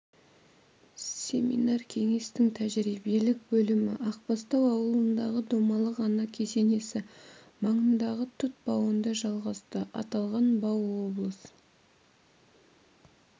семинар кеңестің тәжірибелік бөлімі ақбастау ауылындағы домалақ ана кесенесі маңындағы тұт бауында жалғасты аталған бау облыс